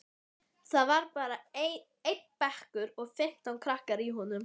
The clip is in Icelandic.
Ef þið gerið það ekki skal þess verða grimmilega hefnt.